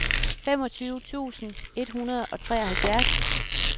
femogtyve tusind et hundrede og treoghalvfjerds